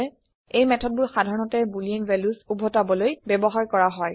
এই মেথডবোৰ সাধাৰণতে বুলিন ভেলিউচ উভাতবলৈ ব্যৱহাৰ কৰা হয়